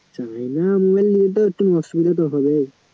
China mobile নিলে তো একটু অসুবিধা তো হবেই